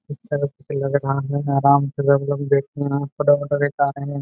लग रहा है आराम से ।